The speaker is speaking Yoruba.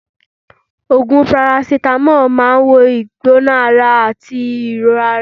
Ogùn parasitamo máa ń wo ìgbóná-ara àti ìrora.